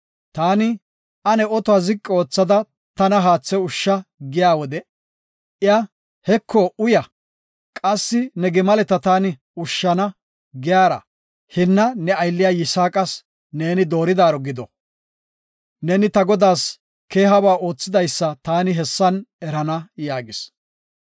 Taani, ‘Ane otuwa ziqi oothada tana haathe ushsha’ giya wode, iya, ‘Heko uya; qassi ne gimaleta taani ushshana’ giyara, hinna ne aylliya Yisaaqas neeni dooridaro gido; neeni ta godaas keehaba oothidaysa taani hessan erana” yaagis.